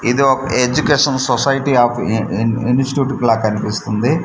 ఇది ఒక education society of in in institute లాగా కనిపిస్తుంది.